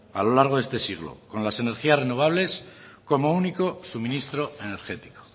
a lo largo de este siglo con las energías renovables como único suministro energético